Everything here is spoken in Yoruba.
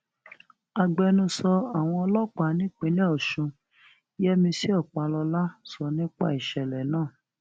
agbẹnusọ àwọn ọlọpàá nípìnlẹ ọsùn yẹmísì ọpàlọlá sọ nípa ìṣẹlẹ náà